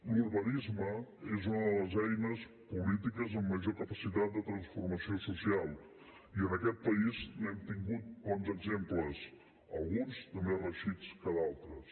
l’urbanisme és una de les eines polítiques amb major capacitat de transformació social i en aquest país n’hem tingut bons exemples alguns de més reeixits que d’altres